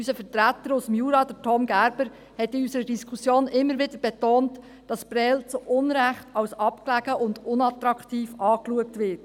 Unser Vertreter aus dem Jura, Tom Gerber, hat in unserer Diskussion immer wieder betont, dass Prêles zu Unrecht als abgelegen und unattraktiv betrachtet wird.